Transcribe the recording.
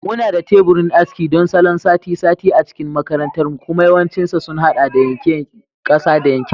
Muna da teburin aski don salon sati-sati a cikin makarantarmu kuma yawancinsa sun haɗa da yanke ƙasa da yanke fata.